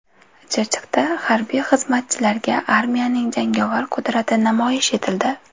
Chirchiqda harbiy xizmatchilarga armiyaning jangovar qudrati namoyish etildi .